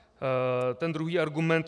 Ten druhý argument.